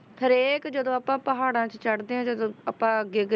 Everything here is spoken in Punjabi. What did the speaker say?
ਹਰੇਕ ਜਦੋਂ ਆਪਾਂ ਪਹਾੜਾਂਂ 'ਚ ਚੜ੍ਹਦੇ ਹਾਂ ਜਦੋਂ ਆਪਾਂ ਅੱਗੇ ਅੱਗੇ,